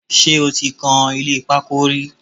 Ṣé o ti kan ilé pákó rí?